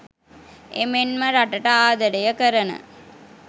එමෙන්ම රටට ආදරය කරන